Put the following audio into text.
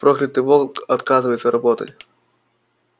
проклятый волк отказывается работать